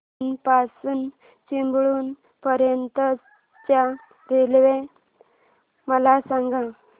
बीना पासून चिपळूण पर्यंत च्या रेल्वे मला सांगा